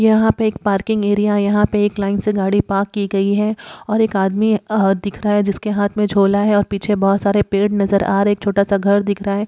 यहां पे एक पार्किंग एरिया है। यहां पे एक लाइन से गाड़ी पार्क की गई है और एक आदमी अ-दिख रहा है जिसके हाथ में झोला है और पीछे बहुत सारे पेड़ नजर आ रहे है। एक छोटा सा घर दिख रहा है।